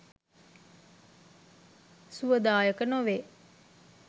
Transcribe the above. සුවදායක නොවේ.